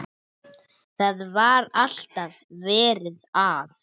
Það var alltaf verið að.